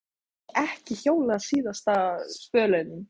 Má ég ekki hjóla síðasta spölinn?